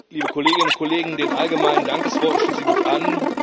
Liebe Kolleginnen und Kollegen, den allgemeinen Dankesworten schließe ich mich an.